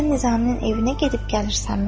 Sən Nizaminin evinə gedib gəlirsənmi?